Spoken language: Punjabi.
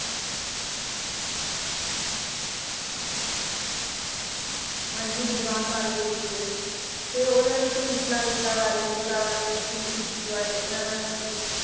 ਹਾਂਜੀ ਵਿਦਵਾਨ ਬਣ ਗਏ ਸੀਗੇ ਤੇ ਉਹਦੇ ਬਾਰੇ ਦੱਸੋ ਮਿਸਲਾਂ ਮਿਸਲਾਂ ਬਾਰੇ ਮਿਸਲਾਂ ਬਾਰੇ ਬਾਰੇ ਇਹਨਾਂ ਬਾਰੇ ਦੱਸੋ ਕੁਛ